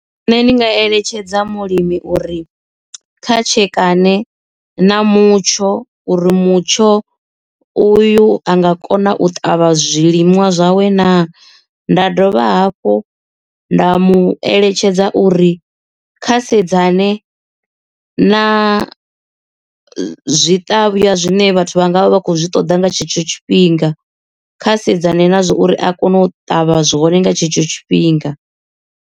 Nṋe ndi nga eletshedza mulimi uri kha tshekane na mutsho uri mutsho uyu a nga kona u ṱavha zwilimwa zwawe na nda dovha hafhu nda mu eletshedza uri kha sedza nṋe na zwiṱavhwa zwine vhathu vha nga vha vha khou zwi ṱoḓa nga tshetsho tshifhinga kha sedzana nazwo uri a kone u ṱavha zwone nga tshetsho tshifhinga.